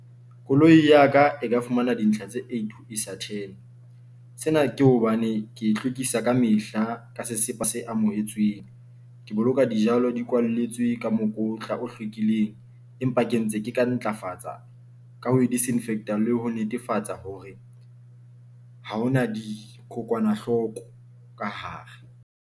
Koloi ya ka e ka fumana dintlha tse eight ho isa ten. Sena ke hobane ke hlwekisa ka mehla ka sesepa se amohetsweng ke boloka dijalo di kwalletswe ka mora mokotla o hlwekileng, empa ke ntse ke ka ntlafatsa ka ho disinfect-a le ho netefatsa hore ha hona dikokwanahloko ka hare.